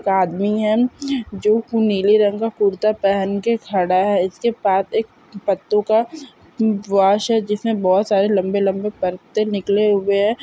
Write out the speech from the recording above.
एक आदमी है जो पुनेली रंगा कुर्ता पहन के खड़ा है इसके पात एक पत्तों का वशा है जिसमे बहुत सारे लंबे लंबे पत्ते निकले हुए है।